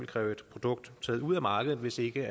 kræve et produkt taget ud af markedet hvis ikke